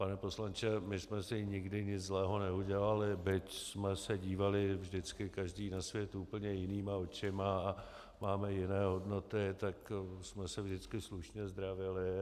Pane poslanče, my jsme si nikdy nic zlého neudělali, byť jsme se dívali vždycky každý na svět úplně jinýma očima a máme jiné hodnoty, tak jsme se vždycky slušně zdravili.